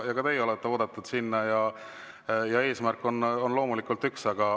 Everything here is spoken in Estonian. Ka teie olete oodatud sinna ja eesmärk on loomulikult üks.